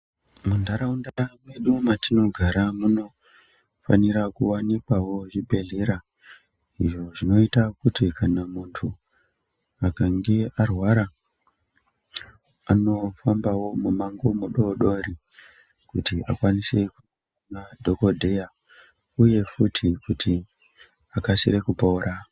Munharaunda mwedu matinogara muno munofanira kuvanikwavo zvibhedhlera izvo zvinoita kuti kana muntu akange arwara anofambavo mumango mudodori. Kuti akwanise kuona dhogodheya, uye futi kuti akasire kupora.